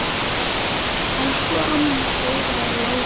Elsku amma Dóra er látin.